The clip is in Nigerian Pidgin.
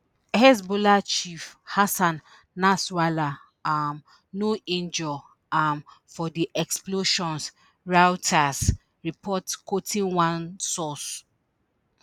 hezbollah chief hassan nasrallah um no injure um for di explosions reuters report quoting one source